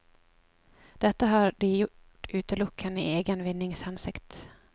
Dette har de gjort utelukkende i egen vinnings hensikt.